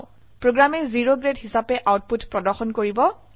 প্ৰোগ্ৰামে O grade হিসাবে output প্ৰদৰ্শন কৰিব